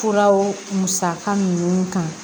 Furaw musaka ninnu kan